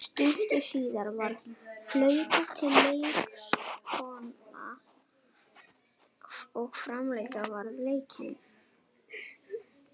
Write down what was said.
Stuttu síðar var flautað til leiksloka og framlengja varð leikinn.